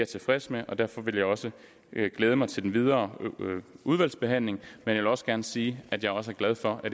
tilfreds med og derfor vil jeg også glæde mig til den videre udvalgsbehandling jeg vil også gerne sige at jeg også er glad for at